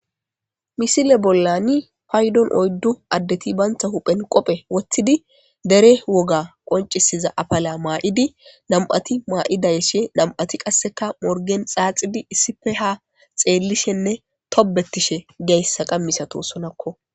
misile bollani paydon oyddu addeti baynta huphen qophe wottidi dere woga qoncisiza apala maa7idi nam7ati maa7idayeshe nam7ati qasseka morgen xaaxidi issifeha xeellishenne tobettishe geyssa qammisato sonakko